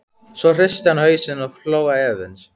Svo hristi hann hausinn og hló efins.